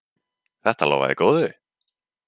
Þetta lofaði góðu!